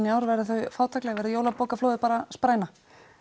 í ár verða þau fátækleg verður jólabókaflóðið bara spræna